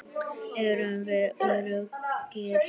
Erum við öruggir?